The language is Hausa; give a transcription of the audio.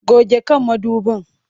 Goge kan mudubin!